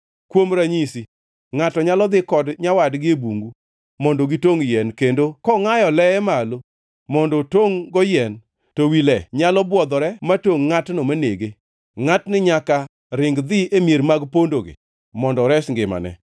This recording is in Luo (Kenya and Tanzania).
Kuom ranyisi ngʼato nyalo dhi kod nyawadgi e bungu mondo gitongʼ yien kendo kongʼayo leye malo mondo otongʼ-go yien, to wi le nyalo bwodhore ma tongʼ ngʼatno manege, ngʼatni nyaka ring dhi e mier mag pondogi mondo ores ngimane.